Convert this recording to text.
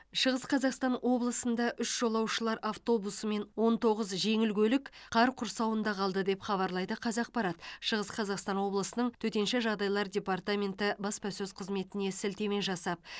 шығыс қазақстан облысында үш жолаушылар автобусы мен он тоғыз жеңіл көлік қар құрсауында қалды деп хабарлайды қазақпарат шығыс қазақстан облысының төтенше жағдайлар департаменті баспасөз қызметіне сілтеме жасап